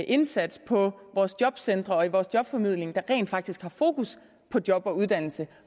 indsats på vores jobcentre og i vores jobformidling der rent faktisk har fokus på job og uddannelse